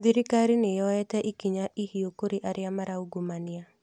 Thirikari nĩ yoete ikinya ihiũ kũrĩ arĩa maraungumania